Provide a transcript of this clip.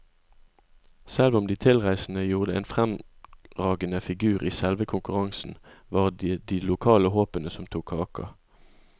Selv om de tilreisende gjorde en fremragende figur i selve konkurransen, var det de lokale håpene som tok kaka.